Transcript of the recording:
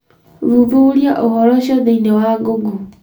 thuthuria ũhoro ũcio thĩinĩ wa google